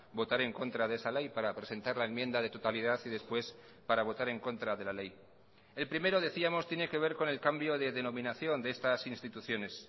votar en contra de esa ley para presentar la enmienda de totalidad y después para votar en contra de la ley el primero decíamos tiene que ver con el cambio de denominación de estas instituciones